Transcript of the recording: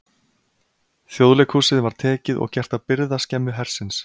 Þjóðleikhúsið var tekið og gert að birgðaskemmu hersins.